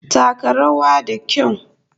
Taka rawa da kyau!